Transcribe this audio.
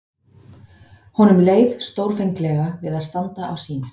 Honum leið stórfenglega við að standa á sínu.